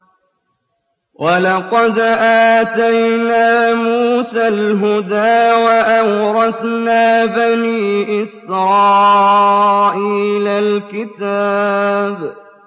وَلَقَدْ آتَيْنَا مُوسَى الْهُدَىٰ وَأَوْرَثْنَا بَنِي إِسْرَائِيلَ الْكِتَابَ